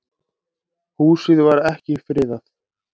Húsið var ekki friðað.